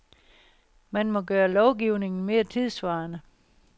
Man må gøre lovgivningen mere tidssvarende.